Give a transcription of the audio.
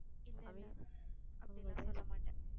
இல்லை, இல்லை அப்படி எல்லாம் சொல்ல மாட்டேன்